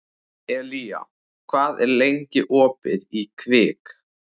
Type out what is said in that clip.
Elía, hvað er lengi opið í Kvikk?